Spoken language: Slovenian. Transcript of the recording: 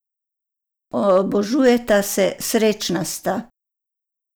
Obožujeta se, srečna sta!